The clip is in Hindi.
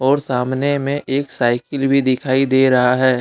और सामने में एक साइकिल भी दिखाई दे रहा है।